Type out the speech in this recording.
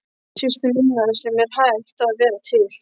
Systur minnar sem er hætt að vera til.